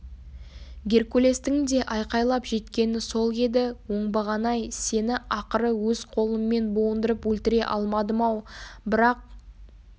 геркулестің де айқайлап жеткені сол еді оңбаған-ай сені ақыры өз қолыммен буындырып өлтіре алмадым-ау бірақ